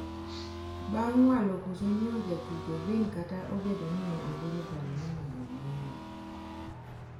bang' walo koso nyiewo jatugo Vin kata obedo ni ne ogolo paro mondo onyiewe